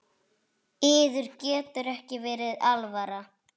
Yður getur ekki verið alvara?